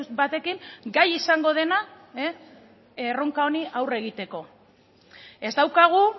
batekin gai izango dena erronka honi aurre egiteko ez daukagu